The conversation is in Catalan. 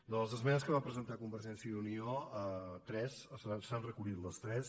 de les esmenes que va presentar convergència i unió tres s’han recollit les tres